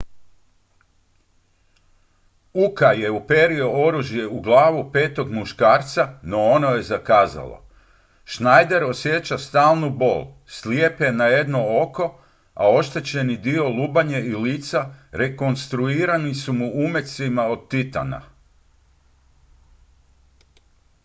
uka je uperio oružje u glavu petog muškarca no ono je zakazalo schneider osjeća stalnu bol slijep je na jedno oko a oštećeni dio lubanje i lice rekonstruirani su mu umecima od titana